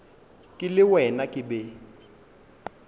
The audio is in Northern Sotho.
ke le wena ke be